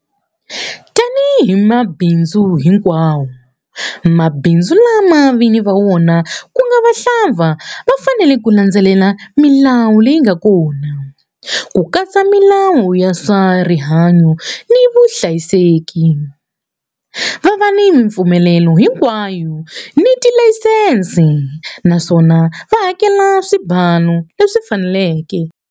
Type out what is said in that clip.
Tanihi mabindzu hinkwawo, mabindzu lama vinyi va wona ku nga vahlampfa ma fanele ku landzelela milawu leyi nga kona, ku katsa milawu ya swa rihanyu ni vuhlayiseki, va va ni mipfumelelo hinkwayo ni tilayisense, naswona va hakela swibalu leswi faneleke.